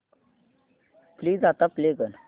please आता play कर